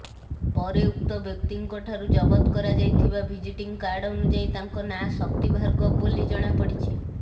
ପରେ ଉକ୍ତ ବ୍ୟକ୍ତିଙ୍କଠାରୁ ଜବତ କରାଯାଇଥିବା ଭିଜିଟିଂ କାର୍ଡ ଅନୁଯାୟୀ ତାଙ୍କ ନାଁ ଶକ୍ତି ଭାର୍ଗବ ବୋଲି ଜଣାପଡିଛି